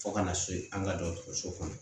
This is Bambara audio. Fo kana se an ka dɔgɔtɔrɔso kɔnɔ